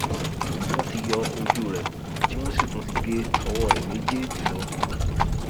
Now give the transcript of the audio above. wọn ti yọ ojú rẹ tí wọn sì tún ti gé ọwọ rẹ méjèèjì lọ